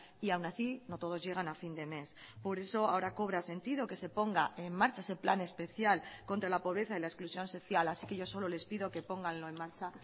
y aún así no todos llegan a fin de mes por eso ahora cobra sentido que se ponga en marcha ese plan especial contra la pobreza y la exclusión social así que yo solo les pido que pónganlo en marcha